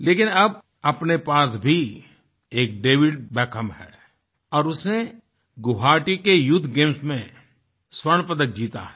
लेकिन अब अपने पास भी एक डेविड बेकहैम है और उसने गुवाहाटी के यूथ गेम्स में स्वर्ण पदक जीता है